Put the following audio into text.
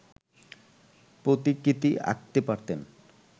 প্রতিকৃতি আঁকতে পারতেন